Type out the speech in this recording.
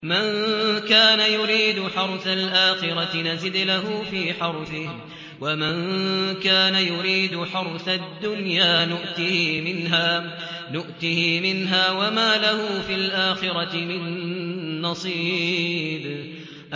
مَن كَانَ يُرِيدُ حَرْثَ الْآخِرَةِ نَزِدْ لَهُ فِي حَرْثِهِ ۖ وَمَن كَانَ يُرِيدُ حَرْثَ الدُّنْيَا نُؤْتِهِ مِنْهَا وَمَا لَهُ فِي الْآخِرَةِ مِن نَّصِيبٍ